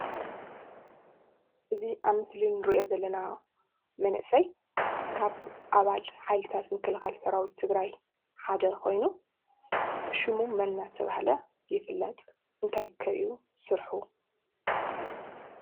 እዙይ ኣብ ምስሊ እንርእዮ ዘለና መንእሰይ ካብ ኣባል ምክልካል ሰራዊት ትግራይ ሓደ ኮይኑ ሽሙ መን እናተባህለ ይፍለጥ? እንታይ ከ እዩ ስርሑ?